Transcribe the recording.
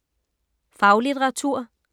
Faglitteratur